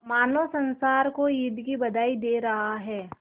मानो संसार को ईद की बधाई दे रहा है